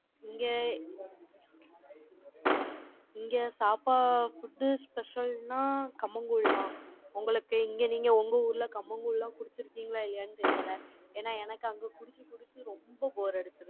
இங்க, இங்க சாப்ப~ food special ன்னா, கம்மங்கூழ்தான் உங்களுக்கு, இங்க நீங்க, உங்க ஊர்ல, கம்மங்கூழ் எல்லாம், குடிச்சிருக்கீங்களா, இல்லையான்னு தெரியலே. ஏன்னா, எனக்கு, அங்க புடிச்சு, புடிச்சு, ரொம்ப bore அடிச்சிருச்சு.